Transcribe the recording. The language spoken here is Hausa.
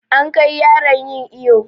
An kai yaran yin iƴo.